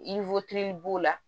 b'o la